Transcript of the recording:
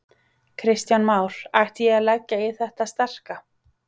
Kristján Már: Ætti ég að leggja í þetta sterka?